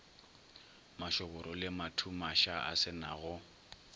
mašoboro le mathumaša a senago